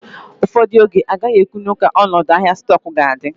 Ụfọdụ oge, agaghị ekwu nwu ka ọnọdụ ahịa stoku ga adi